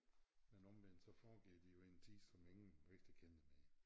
Men omvendt så foregik de jo i en tid som ingen rigtig kender mere